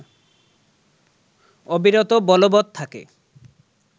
অবিরত বলবত থাকে